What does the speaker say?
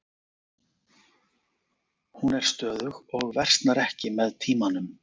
Hún er stöðug og versnar ekki með tímanum.